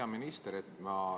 Hea minister!